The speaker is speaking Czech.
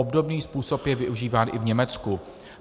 Obdobný způsob je využíván i v Německu.